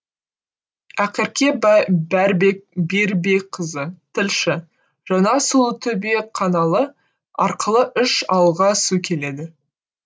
ақерке берікбекқызы тілші жаңа сұлутөбе қаналы арқылы үш ауылға су келеді